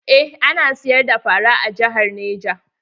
Eh ana siyar da fara a jihar neja.